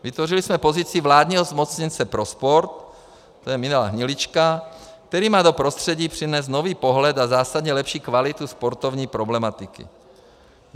Vytvořili jsme pozici vládního zmocněnce pro sport, to je Milan Hnilička, který má do prostředí přinést nový pohled a zásadně lepší kvalitu sportovní problematiky.